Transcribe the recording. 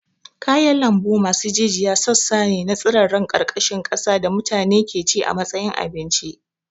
Kayan lambu masu jijiya sassa ne na tsirarran ƙarƙashin ƙasa da mutane ke ci a matsayin abinci.